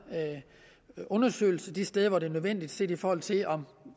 undersøgelse de steder hvor det er nødvendigt set i forhold til om